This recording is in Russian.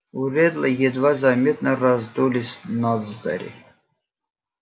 у реддла едва заметно раздулись ноздри